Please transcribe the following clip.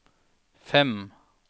fem